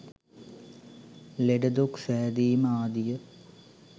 ලෙඩදුක් සෑදීම ආදිය